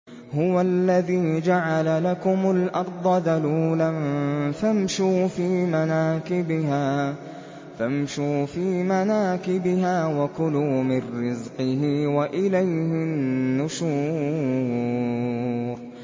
هُوَ الَّذِي جَعَلَ لَكُمُ الْأَرْضَ ذَلُولًا فَامْشُوا فِي مَنَاكِبِهَا وَكُلُوا مِن رِّزْقِهِ ۖ وَإِلَيْهِ النُّشُورُ